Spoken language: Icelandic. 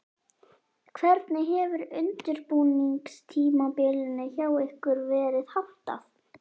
Hvernig hefur undirbúningstímabilinu hjá ykkur verið háttað?